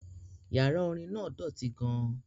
Yàrá orin náà dọ̀tí gan-an